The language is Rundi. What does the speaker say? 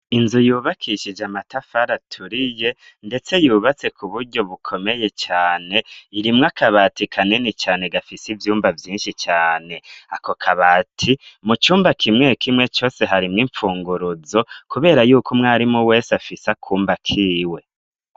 inzu yubakishije amatafari aturiye ndetse yubatse ku buryo bukomeye cane irimwo akabati kanini cane gafise ivyumba vyinshi cane akokabati mu cumba kimwe kimwe cose harimo imfunguruzo kubera yuko mwarimu wese afise akumba kiwe